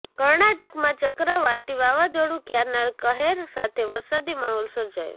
કર્ણાટકમાં ચક્રવાતી વાવાઝાડું ક્યારના કહેર સાથે વરસાદી માહોલ સર્જાયો